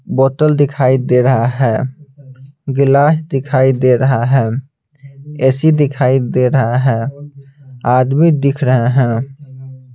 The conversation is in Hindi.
बोतल दिखाई दे रहा है गिलास दिखाई दे रहा है ए_सी दिखाई दे रहा है आदमी दिख रहे हैं।